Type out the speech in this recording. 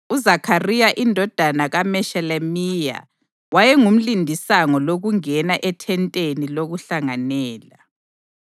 UZakhariya indodana kaMeshelemiya wayengumlindisango lokungena eThenteni lokuHlanganela.